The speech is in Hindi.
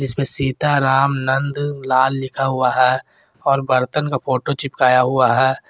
इसमें सीताराम नंदलाल लिखा हुआ है और बर्तन का फोटो चिपकाया हुआ है।